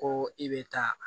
Ko i bɛ taa